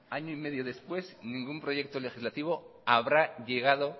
año y medio después ningún proyecto legislativo habrá llegado